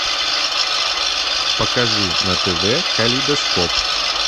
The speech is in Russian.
покажи на тв калейдоскоп